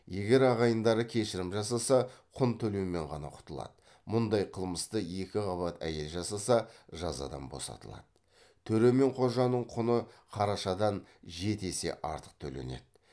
төре мен қожаның құны қарашадан жеті есе артық төленеді